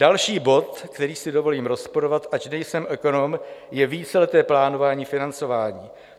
Další bod, který si dovolím rozporovat, ač nejsem ekonom, je víceleté plánování financování.